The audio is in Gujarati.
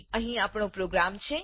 અહી આપણો પ્રોગ્રામ છે